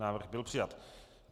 Návrh byl přijat.